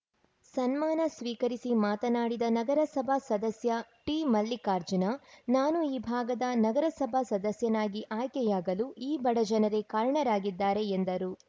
ಸನ್ಮಾನ ಸ್ವೀಕರಿಸಿ ಮಾತನಾಡಿದ ನಗರಸಭಾ ಸದಸ್ಯ ಟಿಮಲ್ಲಿಕಾರ್ಜುನ ನಾನು ಈ ಭಾಗದ ನಗರಸಭಾ ಸದಸ್ಯನಾಗಿ ಆಯ್ಕೆಯಾಗಲು ಈ ಬಡ ಜನರೇ ಕಾರಣರಾಗಿದ್ದಾರೆ ಎಂದರು